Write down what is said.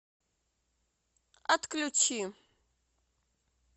отключи